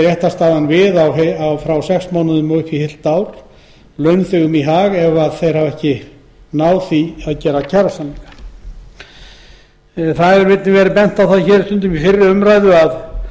réttarstaðan við frá sex mánuðum upp í heilt ár launþegum í hag hafi þeir ekki enn náð samningum í fyrri umræðum hefur stundum verið bent á að